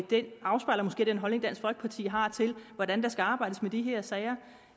det afspejler måske den holdning dansk folkeparti har til hvordan der skal arbejdes med de her sager